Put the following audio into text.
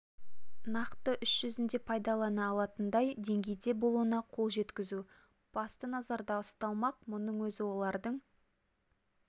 нақты іс жүзінде пайдалана алатындай деңгейде болуына қол жеткізу басты назарда ұсталмақ мұның өзі олардың